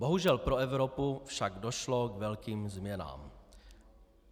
Bohužel pro Evropu však došlo k velkým změnám.